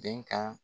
Bɛnkan